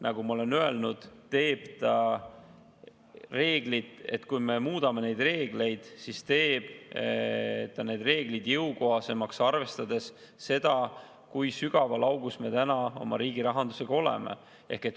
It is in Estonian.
Nagu ma olen öelnud, kui me muudame neid reegleid, siis teeb ta need reeglid jõukohasemaks, arvestades seda, kui sügaval augus me täna oma riigi rahandusega oleme.